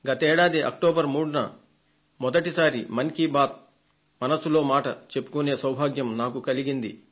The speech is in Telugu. గత సంవత్సరం అక్టోబర్ 3న మొదటి సారి మన్ కీ బాత్ మనసులో మాట చెప్పుకొనే సౌభాగ్యం నాకు కలిగింది